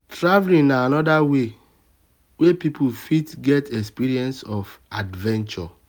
travelling um na anoda way wey person fit get experience of um adventure